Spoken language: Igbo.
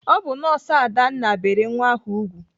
Ọ bụ nọọsụ Adanna bere nwa ahụ ùgwù.